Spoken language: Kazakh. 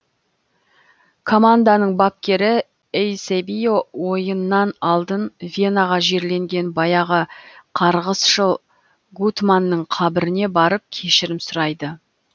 команданың бапкері эйсебио ойыннан алдын венаға жерленген баяғы қарғысшыл гутманның қабіріне барып кешірім сұрайды